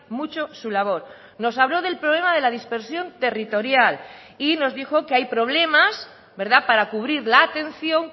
mucho su labor nos habló del problema de la dispersión territorial y nos dijo que hay problemas para cubrir la atención